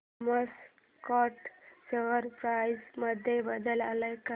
Thomas Scott share price मध्ये बदल आलाय का